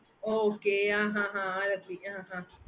okay mam